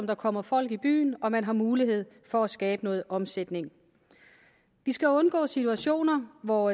der kommer folk til byen og man har mulighed for at skabe noget omsætning vi skal undgå situationer hvor